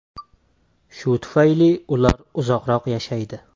Shu tufayli ular uzoqroq yashaydi.